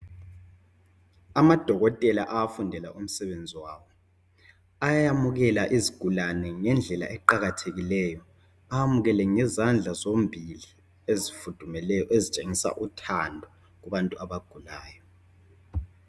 Amadokotela afundela umsebenzi wawo ayamukela izigulane ngendlela eqakathekile. Amukele ngezandla zombili ezifudumeleyo ezitshengisa uthando kubantu abagulayo.